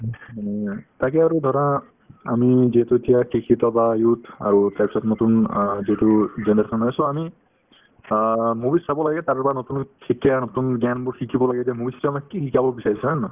তাকে আৰু ধৰা আমি যিহেতু এতিয়া শিক্ষিত বা youth আৰু তাৰপিছত নতুন অ যিটো generation আমি অ movies চাব লাগে তাৰ পৰা নতুন শিক্ষা নতুন জ্ঞানবোৰ শিকিব লাগে যে movies তোয়ে আমি কি শিকাব বিচাৰিছে হয় নে নহয়